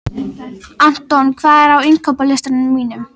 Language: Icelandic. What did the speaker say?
Anton, hvað er á innkaupalistanum mínum?